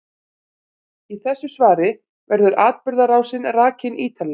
Í þessu svari verður atburðarásin rakin ítarlega.